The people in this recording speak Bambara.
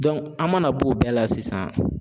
an mana b'o bɛɛ la sisan